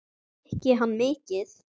Drykki hann mikið?